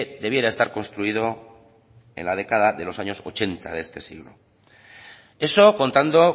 debiera estar construido en la década de los años ochenta de este siglo eso contando